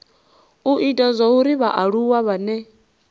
u ita zwauri vhaaluwa vhane